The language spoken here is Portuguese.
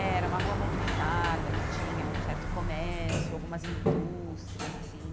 É era uma rua movimentada, que tinha um certo comércio, algumas indústrias, assim.